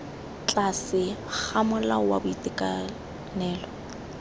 tlase ga molao wa boitekanelo